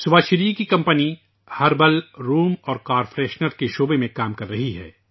سبھاشری جی کی company herbal room اور car fresher کے میدان میں کام کر رہی ہے